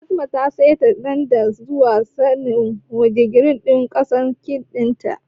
Fatima ta seta tandan zuwa wani digiri dan gasa kek ɗin ta